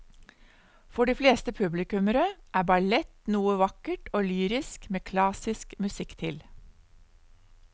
For de fleste publikummere er ballett noe vakkert og lyrisk med klassisk musikk til.